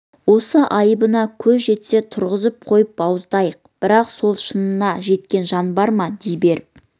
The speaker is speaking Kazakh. осы айыбына көз жетсе тұрғызып қойып бауыздайық бірақ сол шынына жеткен жан бар ма дей беріп